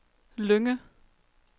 Lynge